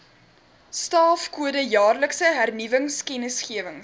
staafkode jaarlikse hernuwingskennisgewings